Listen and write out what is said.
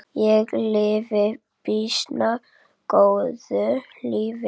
Ég lifi býsna góðu lífi!